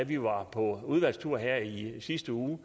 vi var på udvalgstur her i sidste uge